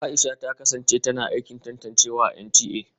Aisha ta kasance tana aikin tantancewa a NTA